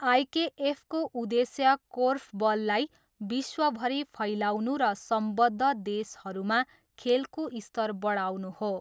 आइकेएफको उद्देश्य कोर्फबललाई विश्वभरि फैलाउनु र सम्बद्ध देशहरूमा खेलको स्तर बढाउनु हो।